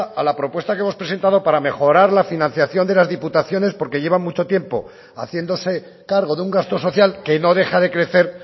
a la propuesta que hemos presentados para mejorar la financiación de las diputaciones porque lleva mucho tiempo haciéndose cargo de un gasto social que no deja de crecer